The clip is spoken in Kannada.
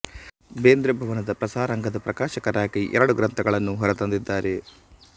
ಬೇಂದ್ರೆ ಭವನದ ಪ್ರಸರಾಂಗದ ಪ್ರಕಾಶಕರಾಗಿ ಎರಡು ಗ್ರಂಥಗಳನ್ನು ಹೊರ ತಂದಿದ್ದಾರೆ